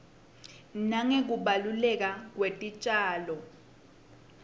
nangekubaluleka kwetitjalo